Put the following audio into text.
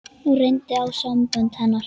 Nú reyndi á sambönd hennar.